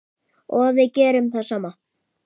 Og við gerum það sama.